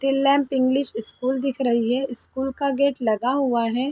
Little lamp English school दिख रही है स्कूल का गेट लगा हुआ है।